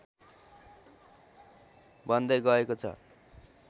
बन्दै गएको छ